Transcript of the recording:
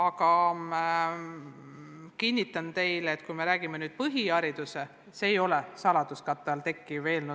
Ma kinnitan teile, et kui me räägime põhiharidusest, siis see ei ole saladuskatte all tekkiv eelnõu.